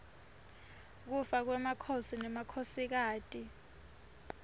kufa kwemakhosi nemakhosikati